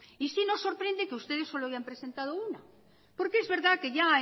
y sí nos sorprende que ustedes solo hayan presentado una porque es verdad que ya